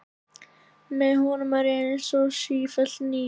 Með honum er ég einsog ég sé sífellt ný.